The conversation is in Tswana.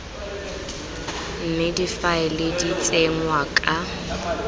mme difaele di tsenngwa ka